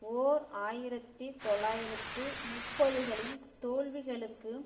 ஓர் ஆயிரத்தி தொள்ளாயிரத்து முப்பதுகளின் தோல்விகளுக்கு